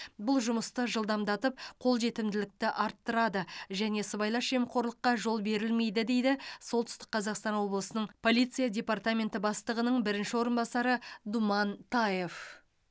бұл жұмысты жылдамдатып қолжетімділікті арттырады және сыбайлас жемқорлыққа жол берілмейді дейді солтүстік қазақстан облысының полиция департаменті бастығының бірінші орынбасары думан таев